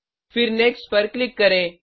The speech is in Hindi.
फिर नेक्स्ट पर क्लिक करें